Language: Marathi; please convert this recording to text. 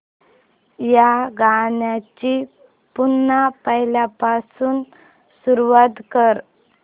या गाण्या ची पुन्हा पहिल्यापासून सुरुवात कर